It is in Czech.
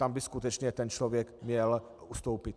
Tam by skutečně ten člověk měl ustoupit.